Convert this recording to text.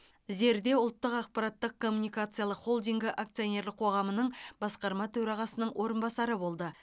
зерде ұлттық ақпараттық коммуникациялық холдингі акционерлік қоғамының басқарма төрағасының орынбасары болды